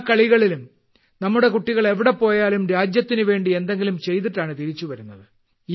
എല്ലാ കളിയിലും നമ്മുടെ കുട്ടികൾ എവിടെ പോയാലും രാജ്യത്തിന്വേണ്ടി എന്തെങ്കിലും ചെയ്തിട്ടാണ് തിരിച്ചു വരുന്നത്